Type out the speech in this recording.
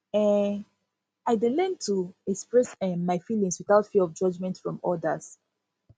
um i dey learn to express um my feelings without fear of judgment from others